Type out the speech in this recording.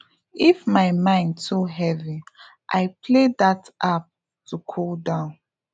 if my mind too heavy i play that app to cool down